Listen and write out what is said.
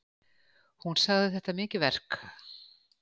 Hún sagði þetta mikið verk